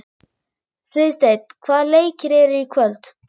Friðsteinn, hvaða leikir eru í kvöld?